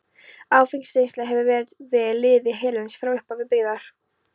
Áfengisneysla hefur verið við lýði hérlendis frá upphafi byggðar.